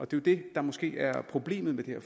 det det der måske er problemet med det